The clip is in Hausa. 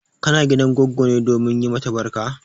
Kana gidan goggo ne domin yi mata barka?